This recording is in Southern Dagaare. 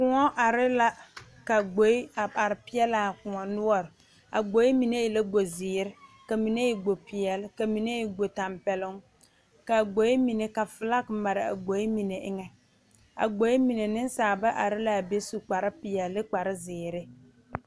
Kõɔ are la ka gboɛ a are pegle a kõɔ noɔre a gboɛ mine e la gbo ziiri ka mine e gbo peɛle ka mine e gbo tanpɛloŋ kaa gboɛ mine ka fike mare a gboɛ mine eŋa a gboɛ mine nensaalba are laa be su kpare peɛle ne kpare ziiri.